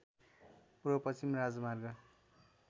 पूर्वपश्चिम राजमार्ग